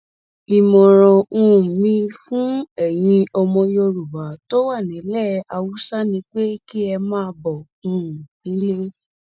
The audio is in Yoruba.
ìmọràn um mi fún ẹyin ọmọ yorùbá tó wà nílẹ haúsá ní pé kẹ ẹ máa bọ um nílé